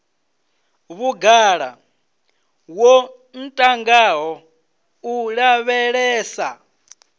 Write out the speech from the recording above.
vhugala wo ntangaho u lavhelesa